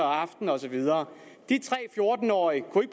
aftenen og så videre de tre fjorten årige kunne